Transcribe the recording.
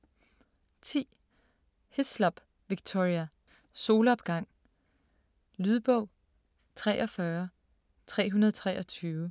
10. Hislop, Victoria: Solopgang Lydbog 43323